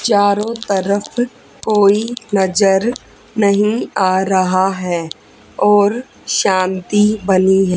चारों तरफ कोई नजर नहीं आ रहा है और शांति बनी है।